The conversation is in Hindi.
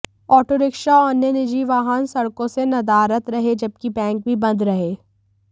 ऑटोरिक्शा और अन्य निजी वाहन सड़कों से नदारद रहे जबकि बैंक भी बंद रहे